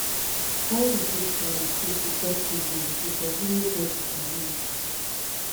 how you fit communicate effectively with a pesin wey get disability?